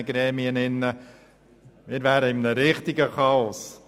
Wir befänden uns in einem richtigen Chaos.